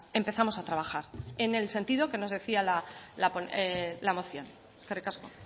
empezamos a trabajar en el sentido que nos decía la moción eskerrik asko